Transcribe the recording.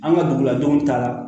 An ka duguladenw taa la